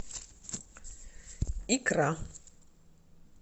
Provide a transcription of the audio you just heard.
икра